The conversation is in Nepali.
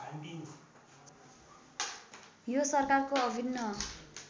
यो सरकारको अभिन्न